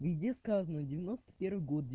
везде сказано девяносто первый год